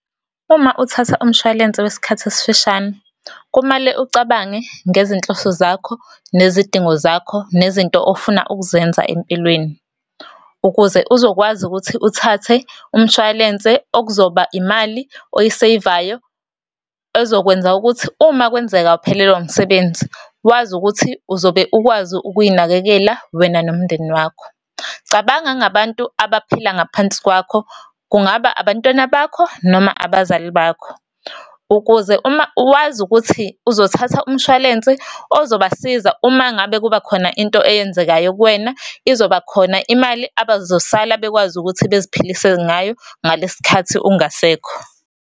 Uma uthatha umshwalense wesikhathi esifishane, kumele ucabange ngezinhloso zakho, nezidingo zakho, nezinto ofuna ukuzenza empilweni. Ukuze uzokwazi ukuthi uthathe umshwalense okuzoba imali oyi-save-ayo, ezokwenza ukuthi uma kwenzeka uphelelwa umsebenzi, wazi ukuthi uzobe ukwazi ukuy'nakekela wena nomndeni wakho. Cabanga ngabantu abaphila ngaphansi kwakho, kungaba abantwana bakho, noma abazali bakho. Ukuze uma, wazi ukuthi uzothatha umshwalense ozobasiza uma ngabe kubakhona into eyenzekayo kuwena, izoba khona imali abazosala bakwazi ukuthi beziphilise ngayo ngalesi sikhathi ungasekho.